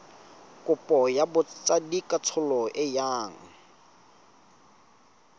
kopo ya botsadikatsholo e yang